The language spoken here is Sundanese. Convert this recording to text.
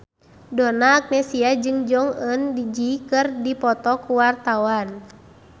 Donna Agnesia jeung Jong Eun Ji keur dipoto ku wartawan